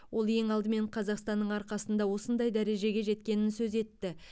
ол ең алдымен қазақстанның арқасында осындай дәрежеге жеткенін сөз етті